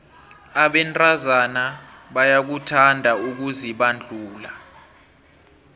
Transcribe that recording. abentazana bayakuthanda ukuzibandula